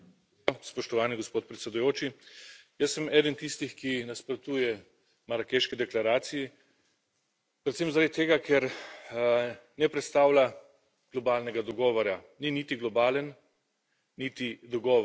Spoštovani gospod predsedujoči, jaz sem eden tistih, ki nasprotuje marakeški deklaraciji, predvsem zaradi tega, ker ne predstavlja globalnega dogovora, ni niti globalen niti dogovor.